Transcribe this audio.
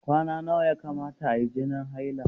Kwana nawa ya kamata ayi jinin haila?